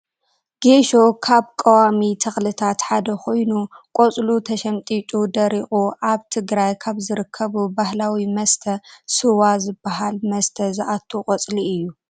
ጌሶ ካብ ቆዋሚ ተክልታት ሓደ ኮይኑ ቆፅሉ ተሸምጢጡ ደሪቁ ኣብ ትግራይ ካብ ዝርከቡ ባህላዊ መስተ ስዋ ዝባሃል መስተ ዝኣቱ ቆፅሊ እዩ።